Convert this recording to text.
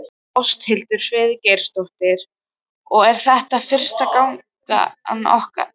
Ásthildur Friðgeirsdóttir: Og er þetta fyrsta gangan ykkar?